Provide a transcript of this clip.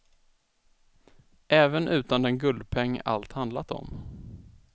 Även utan den guldpeng allt handlat om.